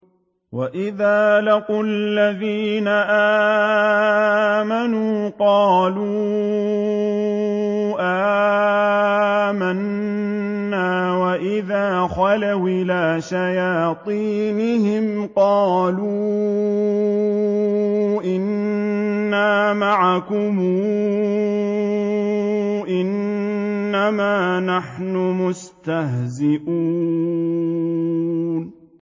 وَإِذَا لَقُوا الَّذِينَ آمَنُوا قَالُوا آمَنَّا وَإِذَا خَلَوْا إِلَىٰ شَيَاطِينِهِمْ قَالُوا إِنَّا مَعَكُمْ إِنَّمَا نَحْنُ مُسْتَهْزِئُونَ